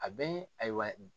A bɛ ayiwa